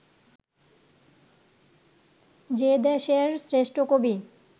যে দেশের শ্রেষ্ঠ কবি